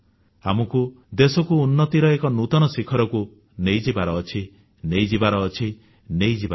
ଆମେ ଦେଶକୁ ଉନ୍ନତିର ଏକ ନୂତନ ଶିଖରରେ ପହଞ୍ଚାଇବା ପହଞ୍ଚାଇବା ପହଞ୍ଚାଇବା